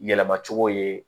Yɛlɛma cogo ye